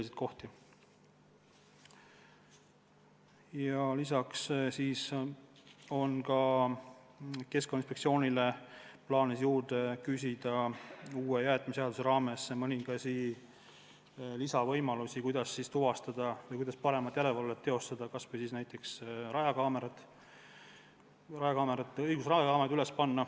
Meil on ka plaanis küsida Keskkonnainspektsioonile uue jäätmeseaduse raames mõningaid lisavõimalusi, kuidas paremat järelevalvet teostada, kas või näiteks rajakaameraid üles panna.